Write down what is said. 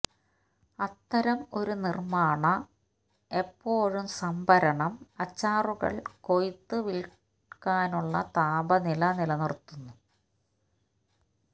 അത്തരം ഒരു നിർമ്മാണ എപ്പോഴും സംഭരണം അച്ചാറുകൾ കൊയ്ത്തു വിൽക്കാനുള്ള താപനില നിലനിർത്തുന്നു